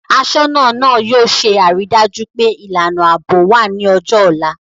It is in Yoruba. Aṣọ́nà náà yóò ṣe àrídájú pé ìlànà ààbò wà ní ọjọ́ ọ̀la